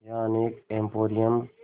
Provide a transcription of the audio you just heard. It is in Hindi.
यहाँ अनेक एंपोरियम